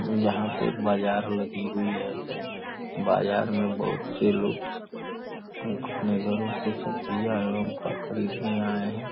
यहां पे बाजार लगी हुई है बाजार में बहुत से लोग अपने घरों के सब्जियां एवं फल खरीदने आए हैं।